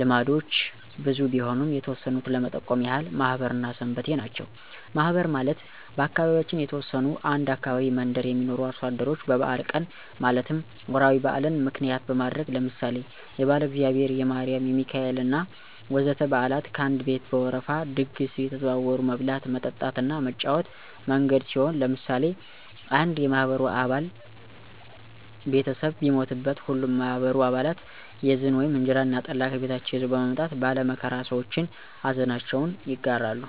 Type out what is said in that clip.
ልምዶች ብዙ ቢሆኑም የተወሰኑት ለመጠቆም ያህል ማህበር እና ሰንበቴ ናቸው። ማህበር ማለት በአካባቢያችን የተወሰኑ አንድ አካባቢ መንደር የሚኖሩ አርሶ አደሮች በበአል ቀን ማለትም ወራዊ በአልን ምክንያት በማድረግ ለምሳሌ የባለእግዚአብሔር፣ የማሪም፣ የሚካኤሌ እና ወዘተ በአላት ከአንድ ቤት በወረፋ ድግስ አየተዘዋወሩ መብላት፣ መጠጣት እና መጫወቻ መንገድ ሲሆን ለምሳሌ አንድ የማህበሩ አባል ቤተሰብ ቢሞትበት ሀሉም የማህበሩ አባለት የዝን (እንጀራ እና ጠላ) ከቤታቸው ይዘዉ በመምጣት ባለ መከራ ሰዎችን አዘናቸውን ይጋራሉ።